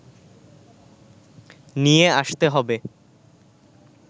নিয়ে আসতে হবে